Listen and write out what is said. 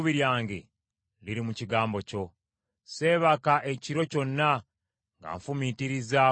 Seebaka ekiro kyonna nga nfumiitiriza ku ebyo bye wasuubiza.